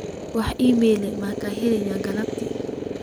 wax iimayl ah ma helin galabtii